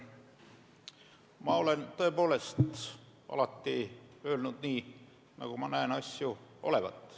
Ma olen tõepoolest alati öelnud nii, nagu ma näen asju olevat.